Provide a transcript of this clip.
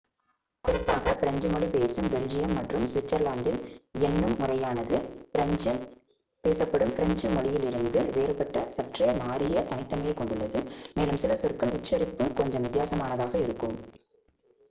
குறிப்பாக பிரெஞ்சு மொழி பேசும் பெல்ஜியம் மற்றும் சுவிட்சர்லாந்தில் எண்ணும் முறையானது பிரான்சில் பேசப்படும் பிரெஞ்சு மொழியிலிருந்து வேறுபட்ட சற்றே மாறிய தனித்தன்மையைக் கொண்டுள்ளது மேலும் சில சொற்களின் உச்சரிப்பு கொஞ்சம் வித்தியாசமானதாக இருக்கும்